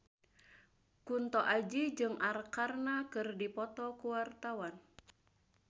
Kunto Aji jeung Arkarna keur dipoto ku wartawan